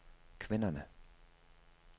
kvinderne